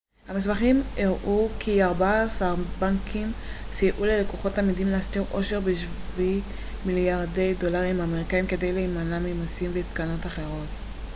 המסמכים הראו כי ארבעה-עשר בנקים סייעו ללקוחות אמידים להסתיר עושר בשווי מליארדי דולרים אמריקאים כדי להימנע ממסים ותקנות אחרות